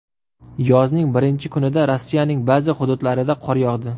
Yozning birinchi kunida Rossiyaning ba’zi hududlarida qor yog‘di.